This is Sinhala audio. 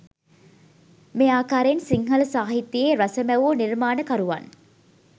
මේ ආකාරයෙන් සිංහල සාහිත්‍යයේ රස මැවූ නිර්මාණකරුවන්